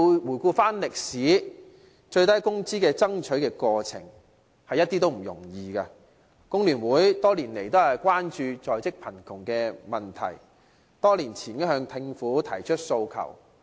回顧歷史，爭取最低工資的過程一點也不容易，工聯會多年來均關注在職貧窮的問題，多年前已向政府提出訴求。